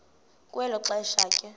kwelo xesha ke